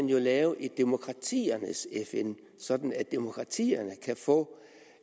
lave et demokratiernes fn sådan at demokratierne kan få